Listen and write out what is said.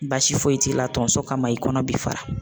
Baasi foyi t'i la tonso kama i kɔnɔ bi fara